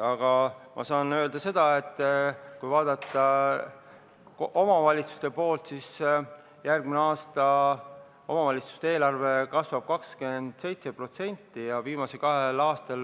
Aga ma saan öelda, et järgmine aasta kasvab omavalitsuste eelarve 27% ja viimasel kahel aastal